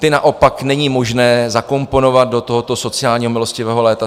Ty naopak není možné zakomponovat do tohoto sociálního milostivého léta.